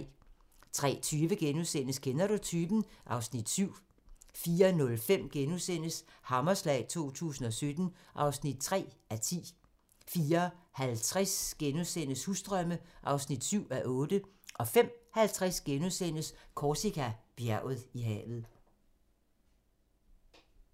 03:20: Kender du typen? (Afs. 7)* 04:05: Hammerslag 2017 (3:10)* 04:50: Husdrømme (7:8) 05:50: Korsika - Bjerget i havet *